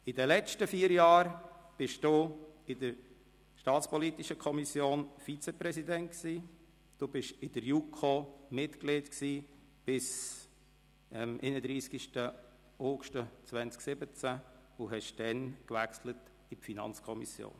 In den letzten vier Jahren waren Sie Vizepräsident der SAK, Mitglied der JuKo bis zum 31. August 2017 und wechselten dann in die FiKo.